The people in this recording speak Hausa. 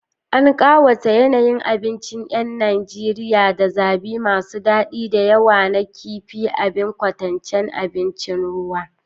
An ƙawata yanayi abincin 'yan Najeriya da zabi masu daɗi da yawa na kifin, abin ƙaunataccen abincin ruwa.